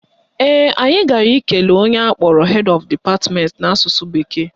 Ee, anyị gara ikele onye akpọrọ Head Of Department n'asụsụ bekee